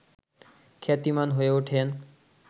খ্যাতিমান হয়ে ওঠেন